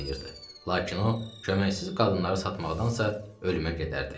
Lakin o, köməksiz qadınları satmaqdansa, ölümə gedərdi.